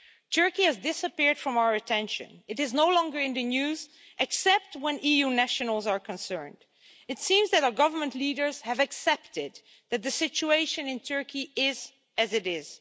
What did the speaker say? Turkey has disappeared from our attention. It is no longer in the news, except when EU nationals are concerned. It seems that our government leaders have accepted that the situation in Turkey is as it is.